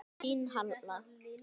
Þín, Halla.